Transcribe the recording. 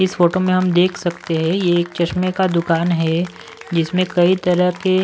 इस फोटो में हम देख सकते हैं ये एक चश्मे का दुकान है जिसमें कई तरह के--